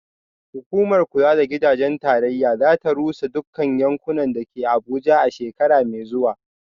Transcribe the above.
Hukumar kula da gidaje ta tarayya za ta rusa dukkan yankunan da ke Abuja a shekara mai zuwa